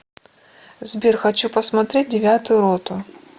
сбер хочу посмотреть девятую роту